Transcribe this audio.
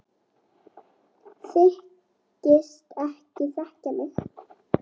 Þykist ekki þekkja mig!